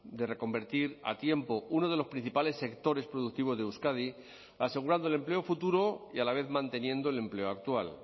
de reconvertir a tiempo uno de los principales sectores productivos de euskadi asegurando el empleo futuro y a la vez manteniendo el empleo actual